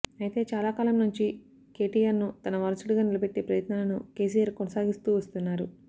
అయితే చాలా కాలం నుంచి కేటిఆర్ ను తన వారసుడిగా నిలబెట్టే ప్రయత్నాలను కేసిఆర్ కొనసాగిస్తూ వస్తున్నారు